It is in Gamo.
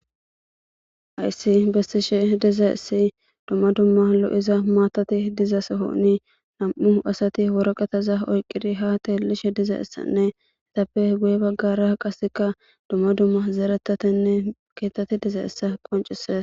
ayssi bessishe dizay essi dumma dumma lo7iza maatati dizasa honi nam7u asati woroqataza oyqiri haateelishe diza issanne itappe guye baggara qaseka dumma dumma zeeretatenne keettati diza issa qoncises